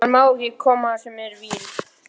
Hann má ekki koma þar sem er vín.